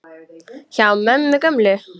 Hjá mömmu gömlu?!